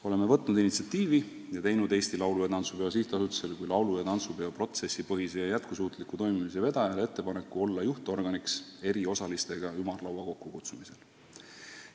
Oleme võtnud initsiatiivi ning teinud Eesti Laulu- ja Tantsupeo SA-le kui laulu- ja tantsupeo protsessipõhise ja jätkusuutliku toimimise vedajale ettepaneku olla juhtorganiks eri osalistega ümarlaua kokkukutsumisel.